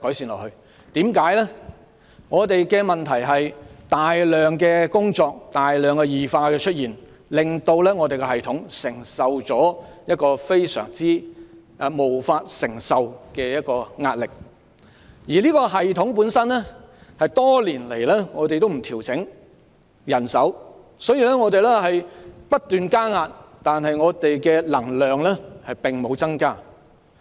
問題在於教師要面對大量工作，令教育系統承受無法承受的壓力，但人手多年來也不獲調整，以致這個系統承受的壓力不斷增加，但教師的能量並無增加。